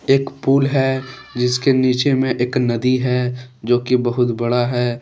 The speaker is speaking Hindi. एक पुल है जिसके नीचे में एक नदी है जो कि बहुत बड़ा है।